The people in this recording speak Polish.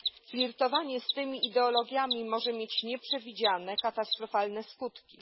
Flirtowanie z tymi ideologiami może mieć nieprzewidziane katastrofalne skutki.